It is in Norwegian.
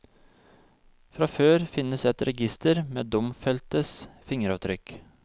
Fra før finnes et register med domfeltes fingeravtrykk.